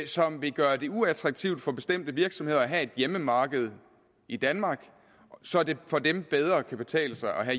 som vil gøre det uattraktivt for bestemte virksomheder at have et hjemmemarked i danmark så det for dem bedre kan betale sig at